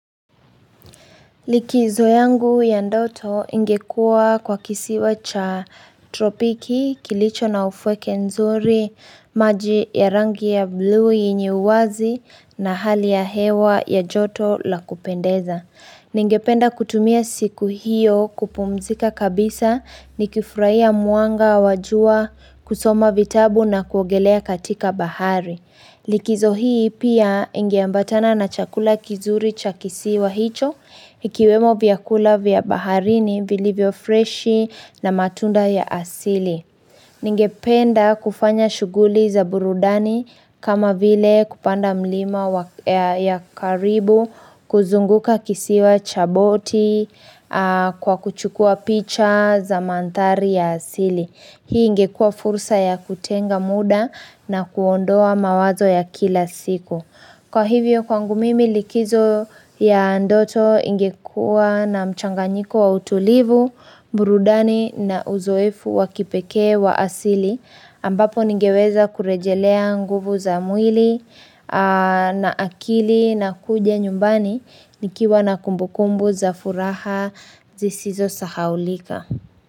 Likizo yangu ya ndoto ingekua kwa kisiwa cha tropiki, kilicho na ufweke nzuri, maji ya rangi ya blu yenye uwazi na hali ya hewa ya joto la kupendeza. Ningependa kutumia siku hiyo kupumzika kabisa ni kifurahia muanga wa jua kusoma vitabu na kuongelea katika bahari. Likizo hii pia ingeambatana na chakula kizuri cha kisiwa hicho, ikiwemo vyakula vyabaharini vilivyofreshi na matunda ya asili. Ningependa kufanya shughuli za burudani kama vile kupanda mlima ya karibu, kuzunguka kisiwa chaboti, kwa kuchukua picha za mandhari ya asili. Hii ingekua fursa ya kutenga muda na kuondoa mawazo ya kila siku Kwa hivyo kwangu mimi likizo ya ndoto ingekua na mchanganyiko wa utulivu, burudani na uzoefu wakipekee wa asili ambapo ningeweza kurejelea nguvu za mwili na akili na kuja nyumbani nikiwa na kumbukumbu za furaha zisizo sahaulika.